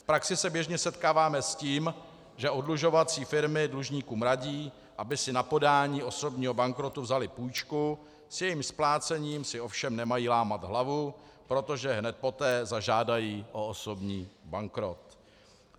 V praxi se běžně setkáváme s tím, že oddlužovací firmy dlužníkům radí, aby si na podání osobního bankrotu vzali půjčku, s jejím splácením si ovšem nemají lámat hlavu, protože hned poté zažádají o osobní bankrot.